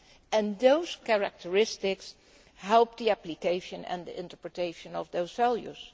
and those characteristics help the application and the interpretation of those values.